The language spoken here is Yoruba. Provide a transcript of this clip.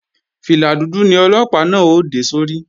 Fìlà dúdú ni Ọlọ́pàá náà ó dé sórí